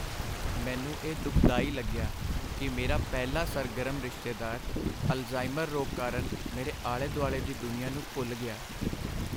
ਮੈਨੂੰ ਇਹ ਦੁਖਦਾਈ ਲੱਗਿਆ ਕਿ ਮੇਰਾ ਪਹਿਲਾਂ ਸਰਗਰਮ ਰਿਸ਼ਤੇਦਾਰ ਅਲਜ਼ਾਈਮਰ ਰੋਗ ਕਾਰਨ ਮੇਰੇ ਆਲੇ ਦੁਆਲੇ ਦੀ ਦੁਨੀਆਂ ਨੂੰ ਭੁੱਲ ਗਿਆ।